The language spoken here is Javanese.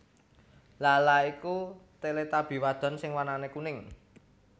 Laa Laa iku Teletubby wadon sing warnané kuning